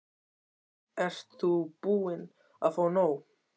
Ert þú búin að fá nóg?